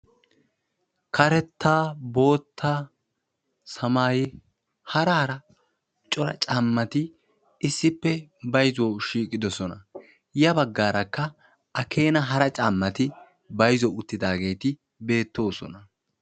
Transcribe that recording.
karetta, bootta, samaayetti hara hara cora caamati issippe bayzzuwawu shooqidosna. Ya bagaarakka a keena hara caamati bayzzuwawu uttidageti beetosona.